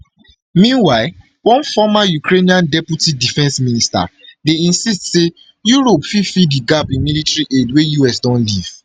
meanwhile one former ukrainian deputy defence minister dey insist say europe fit fill di gap in military aid wey us don leave